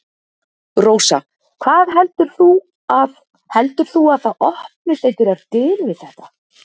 Rósa: Hvað heldur þú að. heldur þú að það opnist einhverjar dyr við þetta?